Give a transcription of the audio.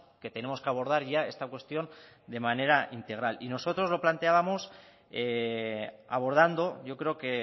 que tenemos que abordar ya esta cuestión de manera integral nosotros lo planteábamos abordando yo creo que